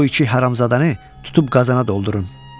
Bu iki haramzadanı tutub qazana doldurun.